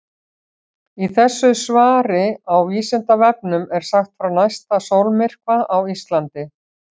Í þessu svari á Vísindavefnum er sagt frá næsta sólmyrkva á Íslandi.